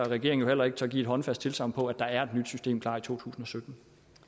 regeringen heller ikke tør give et håndfast tilsagn på at der er et nyt system klar i totusinde